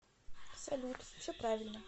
салют все правильно